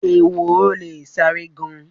Ehoro le sáré gan-an.